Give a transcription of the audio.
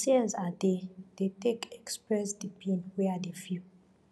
na tears i dey dey take express di pain wey i dey feel